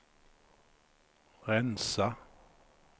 rensa